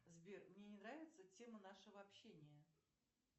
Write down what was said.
сбер мне не нравится тема нашего общения